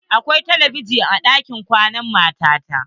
Akwai telebijin a ɗakin kwanan mata ta.